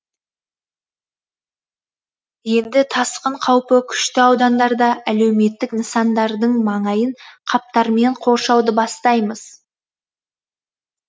енді тасқын қаупі күшті аудандарда әлеуметтік нысандардың маңайын қаптармен қоршауды бастаймыз